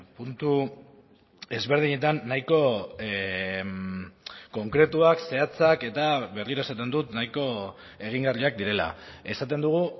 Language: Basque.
puntu ezberdinetan nahiko konkretuak zehatzak eta berriro esaten dut nahiko egingarriak direla esaten dugu